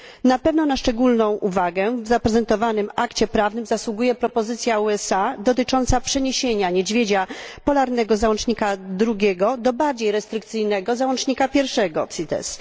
Na pewno na szczególną uwagę w zaprezentowanym akcie prawnym zasługuje propozycja USA dotycząca przeniesienia niedźwiedzia polarnego z załącznika II do bardziej restrykcyjnego załącznika I do konwencji CITES.